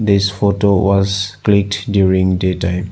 This photo was clicked during day time.